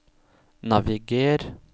naviger